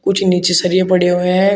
कुछ नीचे सरिया पड़े हुए हैं।